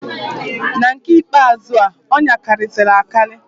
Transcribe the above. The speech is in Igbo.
Na nke ikpe azụa, ọya karịzịrị akarị.